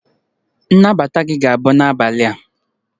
Nnabata gị ga-abụ n'abalị a